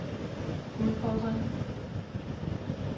udfordring